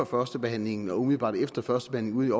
førstebehandlingen og umiddelbart efter førstebehandlingen